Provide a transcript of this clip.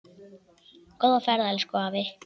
Góða ferð, elsku afi.